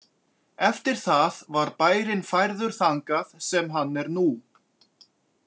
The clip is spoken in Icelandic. Eftir það var bærinn færður þangað sem hann er nú.